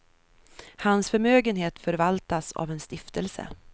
Hans förmögenhet förvaltas av en stiftelse.